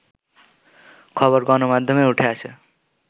খবর গণমাধ্যমে উঠে আসে